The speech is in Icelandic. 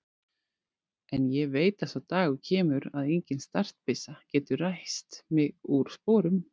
En ég veit að sá dagur kemur að engin startbyssa getur ræst mig úr sporum.